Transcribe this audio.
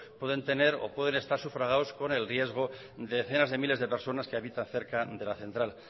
pueden tener o pueden estar sufragados con el riesgo de decenas de miles de personas que habitan cerca dela central